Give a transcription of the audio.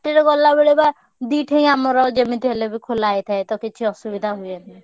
ରେ ଗଲାବେଳେ ବା ଦି ଠେଇଁ ଆମର ଯେମିତି ହେଲେ ବି ଖୋଲା ହେଇଥାଏ ତ କିଛି ଅସୁବିଧା ହୁଏନି।